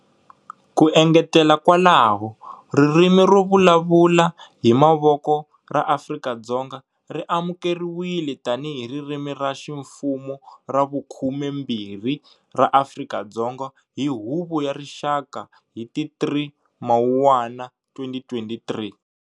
Ku engetela kwalaho, Ririmi ro vulavuala hi Mavoko ra Afrika-Dzonga ri amukeriwile tanihi ririmi ra ximfumo ra vukhumembirhi ra Afrika-Dzonga hi Huvo ya Rixaka hi ti 3 Mawuwani 2023.